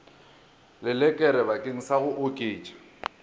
lelekere bakeng sa go oketša